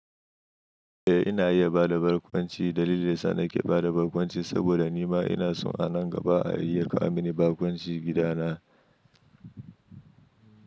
Na iya bada barkwanci. Dalilin da yasa nake bada barkwanci saboda nima ina so a nan gaba a iya kawo mini barkwanci gida na.